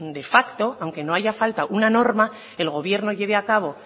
de facto aunque no haya falta una norma el gobierno lleve a cabo